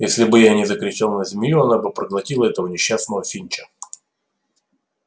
если бы я не закричал на змею она бы проглотила этого несчастного финча